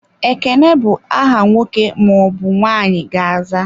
Ekene bụ aha nwoke ma ọbụ nwanyị ga-aza.